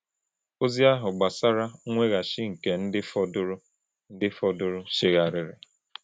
Ozi ahụ gbasara mweghachi nke ndị fọdụrụ ndị fọdụrụ chegharịrị.